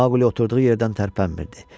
Mauqli oturduğu yerdən tərpənmirdi.